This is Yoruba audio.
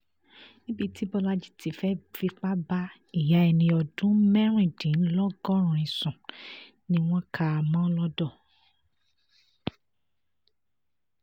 níbi tí bọ́lajì ti fẹ́ẹ́ fipá bá ìyá ẹni ọdún mẹ́rìndínlọ́gọ́rin sùn ni wọ́n kà á mọ́ lodò